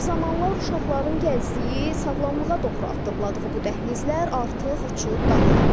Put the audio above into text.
Bir zamanlar uşaqların gəzdiyi, sağlamlığa doğru addımladığı bu dəhlizlər artıq uçub dağılıb.